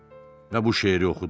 və bu şeiri oxudum.